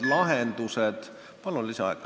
Palun lisaaega!